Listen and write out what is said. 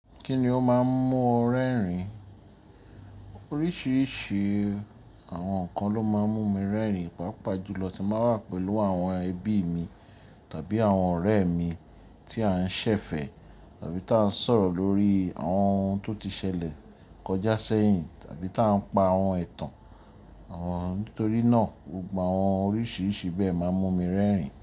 Kíni ó máa ń mú ọ rẹ́rìn? Oríṣiríṣi àwọn nǹkan ló máa ń mú mi rẹ́rìn, pàápàá jùlọ tí mbá wà pẹ̀lú àwọn ẹbí mi tàbí àwọn ọ̀rẹ́ mi tí à ń ṣẹ̀fẹ̀ tàbí tà ń sọ̀rọ̀ lórí àwọn ohun tó ti ṣẹlẹ̀ kọjá sẹ́yìn tàbí tà ń pa àwọn ẹ̀tàn. Àwọn nítorínà, gbogbo àwọn oríṣiríṣi bẹ́ẹ̀ máa ń mú mi rẹ́rìn.